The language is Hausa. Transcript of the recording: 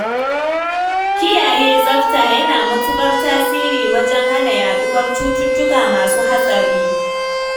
Kiyaye tsafta yana matuƙar tasiri wajen hana yaɗuwar cututtuka masu hatsari